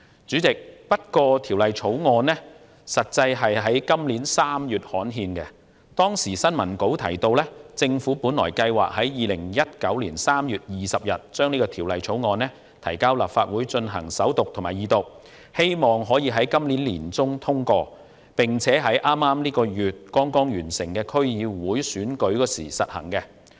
主席，《條例草案》在今年3月刊憲，當時的新聞稿提到，政府計劃在2019年3月20日將《條例草案》提交立法會進行首讀和二讀，希望可於今年年中通過，並在本月剛剛完成的區議會選舉時實行。